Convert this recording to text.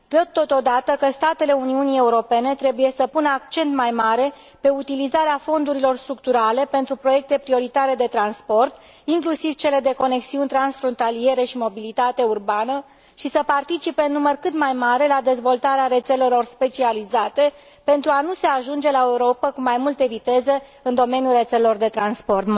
Totodată, consider că statele Uniunii Europene trebuie să pună accent mai mare pe utilizarea fondurilor structurale pentru proiecte prioritare de transport, inclusiv cele de conexiuni transfrontaliere și mobilitate urbană, și să participe în număr cât mai mare la dezvoltarea rețelelor specializate, pentru a nu se ajunge la o Europă cu mai multe viteze în domeniul rețelelor de transport.